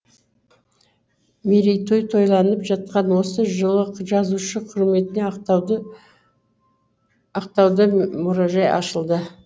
мерейтой тойланып жатқан осы жылы жазушы құрметіне ақтауда мұражай ашылды